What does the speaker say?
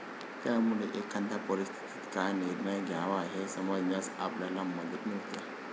त्यामुळे, एखाद्या परिस्थितीत काय निर्णय घ्यावा हे समजण्यास आपल्याला मदत मिळते.